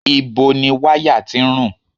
Ìbo ni wáyà tí ń rùn?